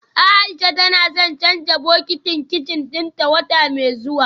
Aisha tana son canja bokitin kicin dinta wata mai zuwa